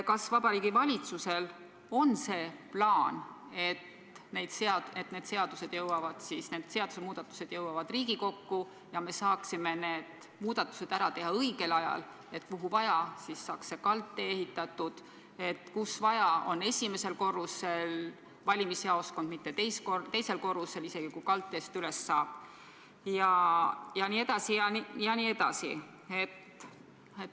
Kas Vabariigi Valitsusel on see plaan, et need seadusemuudatused jõuavad Riigikokku ja me saame need muudatused ära teha õigel ajal, et kuhu vaja, saaks kaldtee ehitatud, kus vaja, oleks valimisjaoskond esimesel korrusel, mitte teisel korrusel, isegi kui kaldteest üles saab jne?